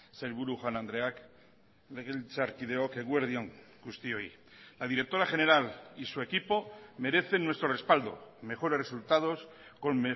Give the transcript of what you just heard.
sailburu jaun andreak legebiltzarkideok eguerdi on guztioi la directora general y su equipo merecen nuestro respaldo mejores resultados con